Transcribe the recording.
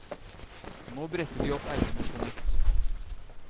Nå bretter de opp ermene på nytt.